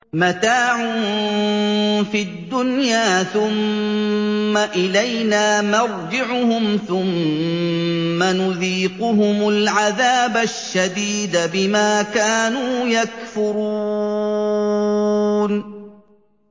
مَتَاعٌ فِي الدُّنْيَا ثُمَّ إِلَيْنَا مَرْجِعُهُمْ ثُمَّ نُذِيقُهُمُ الْعَذَابَ الشَّدِيدَ بِمَا كَانُوا يَكْفُرُونَ